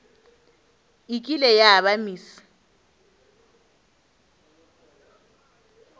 e kile ya ba miss